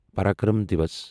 Parakram Diwas